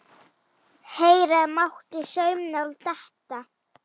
Heyra mátti saumnál detta.